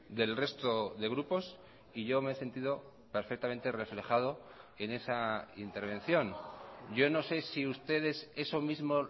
del resto de grupos y yo me he sentido perfectamente reflejado en esa intervención yo no sé si ustedes eso mismo